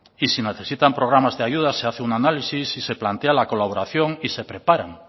y si necesitan programas de ayuda se hace un análisis y se plantea la colaboración y se preparan